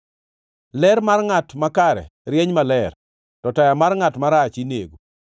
Ler mar ngʼat makare rieny maler, to taya mar ngʼat marach inego.